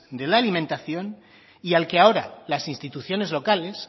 de la alimentación y al que ahora las instituciones locales